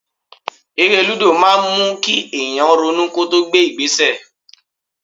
Eré lúdò máa ń mú kí èèyàn ronú kó tó gbé ìgbésẹ̀